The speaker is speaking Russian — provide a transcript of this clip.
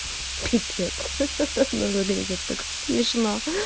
пипец ха-ха ну выглядит так смешно